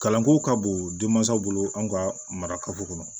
Kalanko ka bon den mansaw bolo an ka mara kafo kɔnɔ